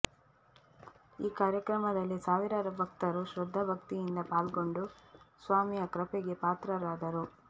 ಈ ಕಾರ್ಯಕ್ರಮದಲ್ಲಿ ಸಾವಿರಾರು ಭಕ್ತರು ಶ್ರದ್ದಾ ಭಕ್ತಿಯಿಂದ ಪಾಲ್ಗೊಂಡು ಸ್ವಾಮಿಯ ಕೃಪೆಗೆ ಪಾತ್ರರಾದರು